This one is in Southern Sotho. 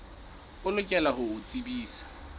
o lokela ho o tsebisa